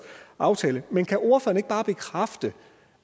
aftale men kan ordføreren ikke bare bekræfte